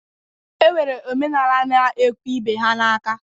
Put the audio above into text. E nwere omenala na-ekwe ibe ha n'aka.